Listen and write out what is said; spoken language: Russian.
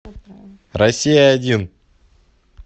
россия один